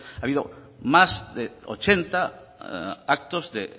ha habido más de ochenta actos de